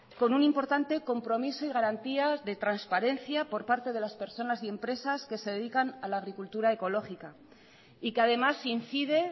con un importante compromiso y garantías de transparencia por parte de las personas y empresas que se dedican a la agricultura ecológica y que además incide